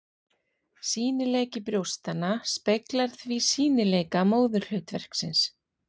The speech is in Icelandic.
Sýnileiki brjóstanna speglar því sýnileika móðurhlutverksins.